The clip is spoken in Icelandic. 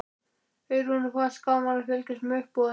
Eyrúnu fannst gaman að fylgjast með uppboðinu.